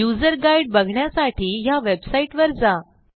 user guide बघण्यासाठी ह्या वेबसाईटवर जा